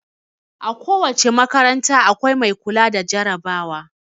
A ko wace makaranta, akwai mai kula da jarabawa.